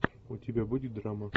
у тебя будет драма